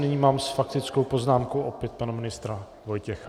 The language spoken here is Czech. Nyní mám s faktickou poznámkou opět pana ministra Vojtěcha.